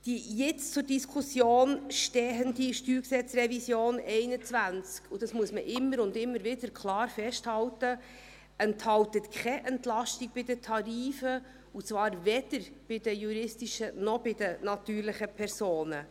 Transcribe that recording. Die jetzt zur Diskussion stehende StG-Revision 2021 – und das muss man immer und immer wieder klar festhalten – enthält keine Entlastung bei den Tarifen, und zwar weder bei den juristischen noch bei den natürlichen Personen.